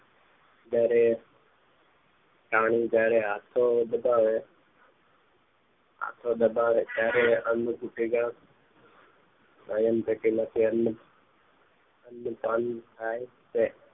જયારે પ્રાણી જયારે હાથો દબાવે હાથો દબાવે ત્યારે અન્ન સુથીકા સ્વયં પેટી માંથી અન્ન પાન થાય છે